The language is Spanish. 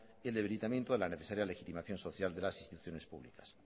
y el debilitamiento de la necesaria legitimación social de las instituciones públicas